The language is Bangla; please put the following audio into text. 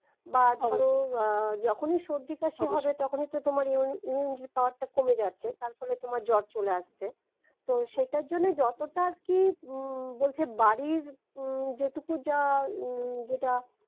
বা ধরো আহ যখনি সর্দি কাশি অবশ্যই হবে তখন তোমার immunity power টা কমে যাচ্ছে তারফলে তোমার জ্বর চলে আসছে তো সেটার জন্যই যতটা আরকি উম বলছে বাড়ির উম যেটুকু যা উম যেটা